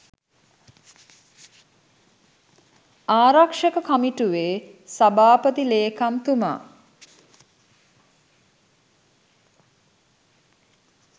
ආරක්‍ෂක කමිටුවේ සභාපති ලේකම්තුමා